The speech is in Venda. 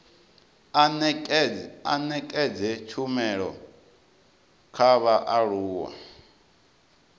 a nekedze tshumelo kha vhaaluwa